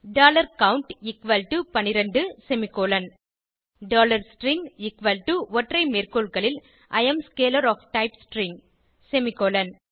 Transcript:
count 12 semicolon string ஒற்றைமேற்கோள்களில் I am scalar of type string semicolon